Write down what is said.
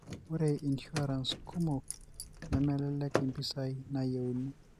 ore "insurance" kumok nemelak mpisai nayieuni.